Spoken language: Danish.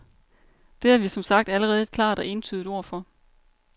Det har vi som sagt allerede et klart og entydigt ord for.